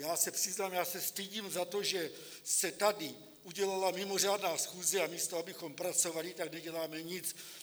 Já se přiznám, já se stydím za to, že se tady udělala mimořádná schůze, a místo abychom pracovali, tak neděláme nic.